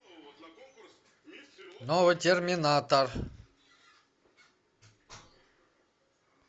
новый терминатор